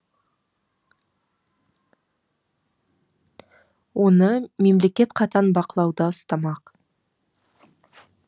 оны мемлекет қатаң бақылауда ұстамақ